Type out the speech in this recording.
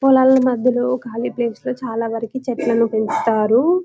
పొలాల మధ్యలో కాళీ ప్లేస్ లు చాలా వారికి చెట్లను పెంచుతారు.